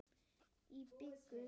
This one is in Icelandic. Í byggð